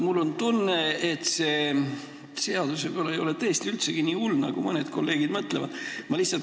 Mul on tunne, et see seadus ei ole võib-olla tõesti üldse nii hull, nagu mõned kolleegid mõtlevad.